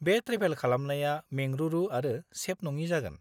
बे ट्रेभेल खालामनाया मेंरुरु आरो सेफ नङि जागोन।